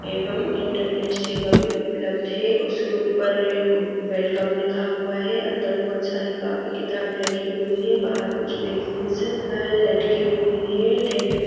एवंम इंटरनेट सेवा भी उपलब्ध है उसके ऊपर एक वेलकम लिखा हुआ है अंदर बहोत सारी कॉपी किताबें रखी हुई हैं। बाहर कुछ मेगज़ीन्स अ लटकी हुई हैं। टेबल --